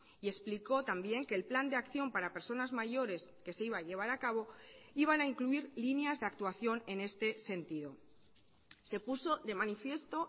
y explicó también que el plan de acción para personas mayores que se iba a llevar a cabo iban a incluir líneas de actuación en este sentido se puso de manifiesto